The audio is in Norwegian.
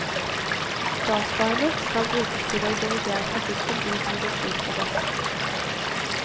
Dataene skal brukes til å dirigere trafikken dit hvor det flyter best.